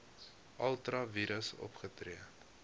ultra vires opgetree